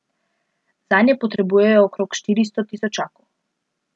Zanje potrebujejo okrog štiristo tisočakov.